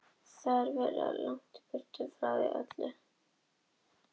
Það verður að komast eins langt burt og hægt er frá því öllu.